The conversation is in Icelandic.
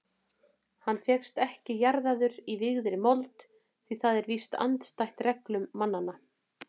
Hann fékkst ekki jarðaður í vígðri mold því það er víst andstætt reglum mannanna.